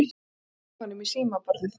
Hann slær hnefanum í símaborðið.